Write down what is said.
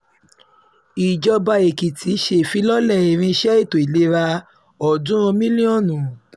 ìjọba èkìtì ṣèfilọ́lẹ̀ irinṣẹ́ ètò ìlera ọ̀ọ́dúnrún mílíọ̀nù